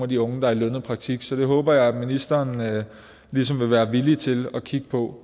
de unge der er i lønnet praktik så det håber jeg at ministeren ligesom vil være villig til at kigge på